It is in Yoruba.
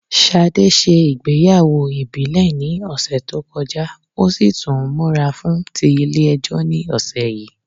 Ṣadé se ìgbéyàwó ìbílẹ̀ ní òsè tó kọjá o si tún n múra fún ti Ilé ejó ní òsè yi